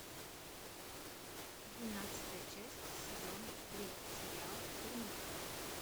двенадцатая часть сезон три сериал дурнушка